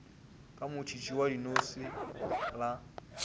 ka motšhitšhi wa dinose la